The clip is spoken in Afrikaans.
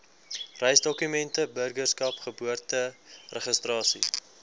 reisdokumente burgerskap geboorteregistrasie